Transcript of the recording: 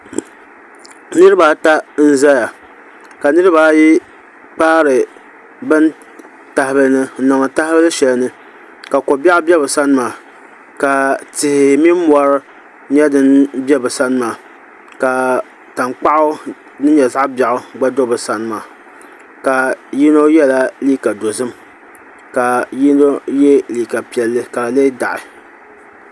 Niraba ata n ʒɛya ka niraba ayi kpaari bin tahabili ni n niŋdi tahabili shɛli ni ka ko biɛɣu bɛ bi sani maa ka tihi mini mori bɛ bi sani maa ka tankpaɣu din nyɛ zaɣ biɛɣu gba do bi sani maa ka yino yɛla liiga dozim ka yino yɛ liiga piɛlli ka di lee daɣi